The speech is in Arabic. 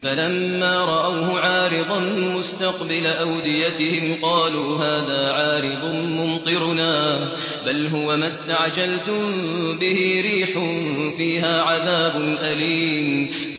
فَلَمَّا رَأَوْهُ عَارِضًا مُّسْتَقْبِلَ أَوْدِيَتِهِمْ قَالُوا هَٰذَا عَارِضٌ مُّمْطِرُنَا ۚ بَلْ هُوَ مَا اسْتَعْجَلْتُم بِهِ ۖ رِيحٌ فِيهَا عَذَابٌ أَلِيمٌ